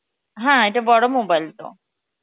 হ্যাঁ ইটা বড় mobile তো